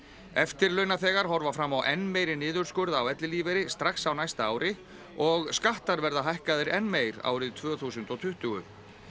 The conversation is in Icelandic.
eftirlaunaþegar horfa fram á enn meiri niðurskurð á ellilífeyri strax á næsta ári og skattar verða hækkaðir enn meir árið tvö þúsund og tuttugu